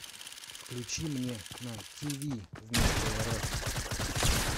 включи мне на тв вместо рф